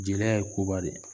Jeliya ye koba de ye